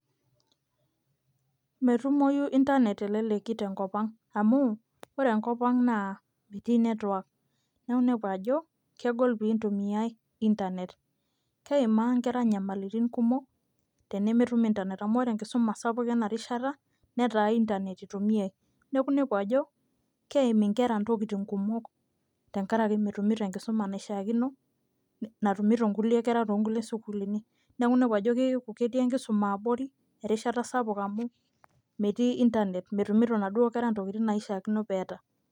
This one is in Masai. metumoyu internet teleleki tenkop ang au ore enkop ang nemitii network .neeku inepu ajo keimaa nkera nyamlitin kumok, tenemetum internet amu ore enkisuma sapuk ena rishata netaa internet itumiae ,neeku inepu ajo keim inkera intokitin komok tenkaraki metumito enkisuma, naishaakino natumoto nkulie kera, toosukuulini. neeku inepu ajo keku ketii enkisuma abori erishata sapuk amu metii internet metumito inaduoo kera ntokitin naishakino pee eeta.